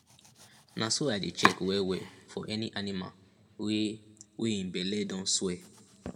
na so i dey check wellwell for any animal wey wey in belle don swell